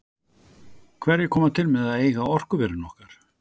Hverjir koma til með að eiga orkuverin okkar?